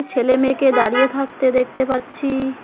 ছেলে মেয়েকে দাঁড়িয়ে থাকতে দেখতে পাচ্ছি।